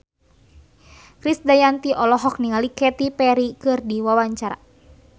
Krisdayanti olohok ningali Katy Perry keur diwawancara